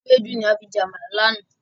Ewédú ni a fi jẹ Àmàlà láánaà.